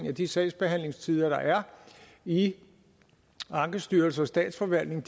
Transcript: at de sagsbehandlingstider der er i ankestyrelsen og statsforvaltningen